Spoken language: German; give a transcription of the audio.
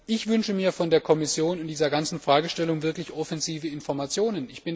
Ich wünsche mir von der Kommission in dieser ganzen Fragestellung wirklich offensive Informationen.